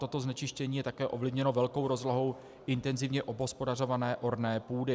Toto znečištění je také ovlivněno velkou rozlohou intenzivně obhospodařované orné půdy.